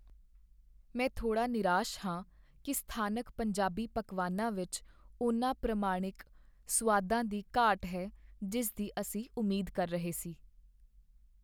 ਮੈਂ ਥੋੜ੍ਹਾ ਨਿਰਾਸ਼ ਹਾਂ ਕੀ ਸਥਾਨਕ ਪੰਜਾਬੀ ਪਕਵਾਨਾਂ ਵਿੱਚ ਉਨ੍ਹਾਂ ਪ੍ਰਮਾਣਿਕ ਸੁਆਦਾਂ ਦੀ ਘਾਟ ਹੈ ਜਿਸ ਦੀ ਅਸੀਂ ਉਮੀਦ ਕਰ ਰਹੇ ਸੀ।